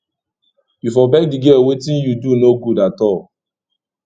you for beg di girl wetin you do no good at all